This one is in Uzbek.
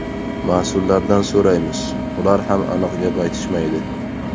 Mas’ullardan so‘raymiz, ular ham aniq gap aytishmaydi.